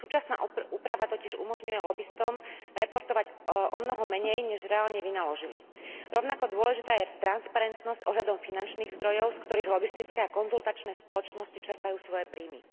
Súčasná úprava totiž umožňuje lobistom reportovať omnoho menej než reálne vynaložili. Rovnako dôležitá je transparentnosť ohľadom finančných zdrojov, z ktorých lobistické a konzultačné spoločnosti čerpajú svoje príjmy.